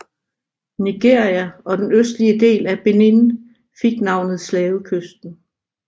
Nigeria og den østlige del af Benin fik navnet Slavekysten